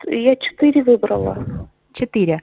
я четыре выбрала четыре